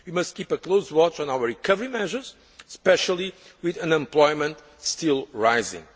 focus. We must keep a close watch on our recovery measures, especially with unemployment still